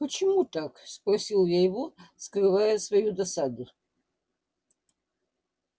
почему так спросил я его скрывая свою досаду